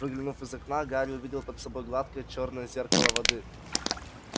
выглянув из окна гарри увидел под собой гладкое чёрное зеркало воды